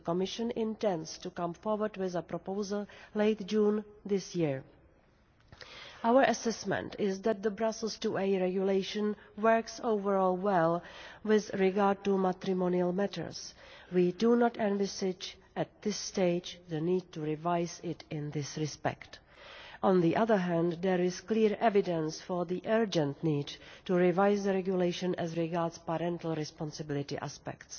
The Commission intends to come forward with a proposal late June this year. Our assessment is that the Brussels IIa Regulation works overall well with regard to matrimonial matters. We do not envisage, at this stage, the need to revise it in this respect. On the other hand, there is clear evidence for the urgent need to revise the regulation as regards parental responsibility aspects.